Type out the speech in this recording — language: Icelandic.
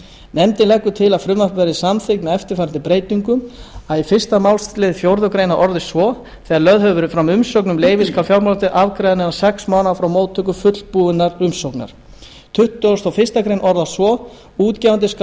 nefndin leggur til að frumvarpið verði samþykkt með eftirfarandi breytingum fyrsti fyrsti málsl fjórðu grein orðist svo þegar lögð hefur verið fram umsókn um leyfi skal fjármálaeftirlitið afgreiða hana innan sex mánaða frá móttöku fullbúinnar umsóknar annars tuttugasta og fyrstu grein orðist svo útgefandi skal